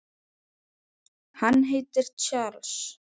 Hann heitir Charles